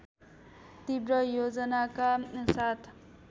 तीव्र योजनाका साथ